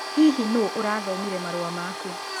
Hihi nũũ ũrathomire marũa maku?